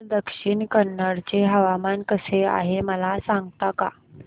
आज दक्षिण कन्नड चे हवामान कसे आहे मला सांगता का